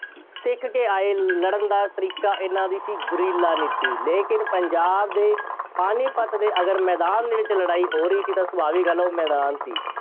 ਸਿੱਖ ਕੇ ਆਏ ਲੜਨ ਦਾ ਤਰੀਕਾ ਐਨਾ ਕੀ ਸੀ, ਗੁਰੀਲਾ ਨਹੀਂ ਸੀ। ਲੇਕਿਨ ਪੰਜਾਬ ਦੇ ਪਾਣੀਪਤ ਦੇ ਅਗਰ ਮੈਦਾਨ ਦੇ ਵਿੱਚ ਲੜਾਈ ਹੋ ਰਹੀ ਸੀ ਤਾਂ ਸੁਭਾਵਿਕ ਗੱਲ ਸੀ ਉਹ ਮੈਦਾਨ ਸੀ।